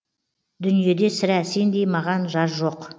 дүниеде сірә сендей маған жар жоқ